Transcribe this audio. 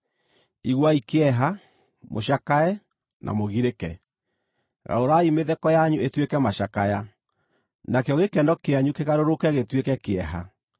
Iguai kĩeha, mũcakae, na mũgirĩke. Garũrai mĩtheko yanyu ĩtuĩke macakaya, nakĩo gĩkeno kĩanyu kĩgarũrũke gĩtuĩke kĩeha.